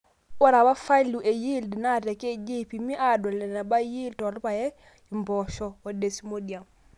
ore apa faliu e yield naa te kj eipimi, aadol eneba yiel toolpaek, impoosho o desmodium